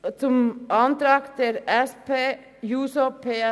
Zum Antrag SP-JUSO-PSA